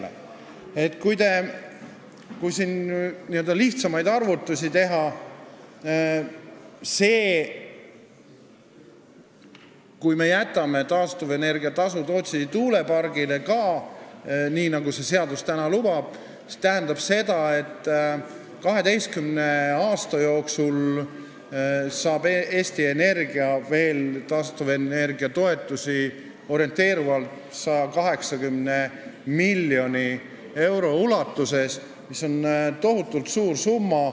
Lihtsa arvutuse kohaselt on nii, et kui ka Tootsi tuulepark saab taastuvenergia toetust sel moel, nagu see seadus praegu lubab, siis see tähendab seda, et 12 aasta jooksul saab Eesti Energia taastuvenergia toetust orienteerivalt 180 miljoni eurot, mis on tohutult suur summa.